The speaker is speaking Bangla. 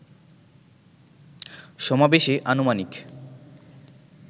সমাবেশে আনুমানিক